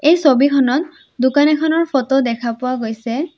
এই ছবিখনত দোকান এখনৰ ফটো দেখা পোৱা গৈছে।